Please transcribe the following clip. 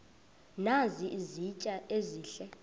nazi izitya ezihle